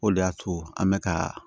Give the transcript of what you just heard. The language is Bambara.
O de y'a to an bɛ ka